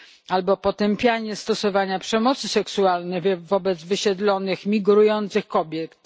albo potępianie stosowania przemocy seksualnej wobec wysiedlonych migrujących kobiet.